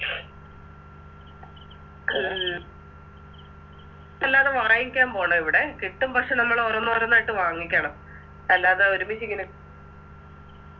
ഉം അല്ലാതെ വാങ്ങിക്കാം ഇവിടെ കിട്ടും പക്ഷെ നമ്മളോരോന്നോരോന്നായിട്ട് വാങ്ങിക്കണം അല്ലാതെ ഒരുമിച്ചിങ്ങനെ